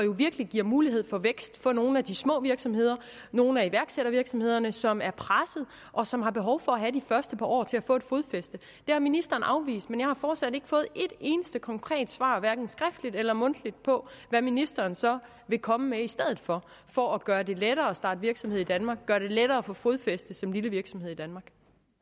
jo virkelig giver mulighed for vækst for nogle af de små virksomheder nogle af iværksættervirksomhederne som er pressede og som har behov for have de første par år til at få et fodfæste det har ministeren afvist men jeg har fortsat ikke fået et eneste konkret svar hverken skriftligt eller mundtligt på hvad ministeren så vil komme med i stedet for for at gøre det lettere at starte virksomhed i danmark gøre det lettere at få fodfæste som lille virksomhed i danmark